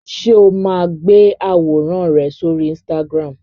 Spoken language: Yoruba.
Ṣé o máa ń gbé àwòrán rẹ sóri Instagram?